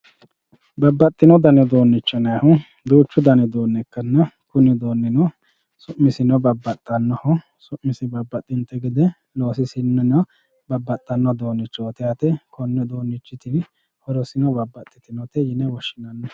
Babaxino dani uduunicho yinaayihu duuchu dani uduunicho ikkanna kuni uduunino su'misino babaxanoho, su'misi babaxinte gede loosisininno babaxano uduunichoti yaate koni uduunichiti horosino babaxitinote yine woshinanni